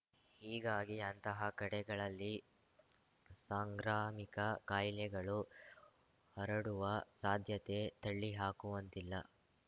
ಹೀಗಾಗಿ ಅಂತಹ ಕಡೆಗಳಲ್ಲಿ ಸಾಂಗ್ರಾಮಿಕ ಕಾಯಿಲೆಗಳು ಹರಡುವ ಸಾಧ್ಯತೆ ತಳ್ಳಿ ಹಾಕುವಂತಿಲ್ಲ